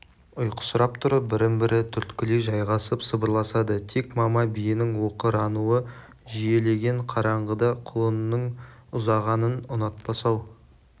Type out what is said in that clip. ұйқысырап тұрып бірін-бірі түрткілей жайғасып сыбырласады тек мама биенің оқырануы жиілеген қараңғыда құлынының ұзағанын ұнатпас ау